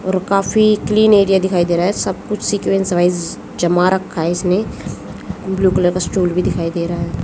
और काफी clean area दिखाई दे रहा है सब कुछ सीक्वेंस वाइस जमा रखा है इसमें ब्लू कलर का स्टूल भी दिखाई दे रहा है।